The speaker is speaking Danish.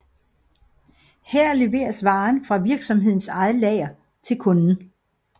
Her leveres varen fra virksomhedens eget lager til kunden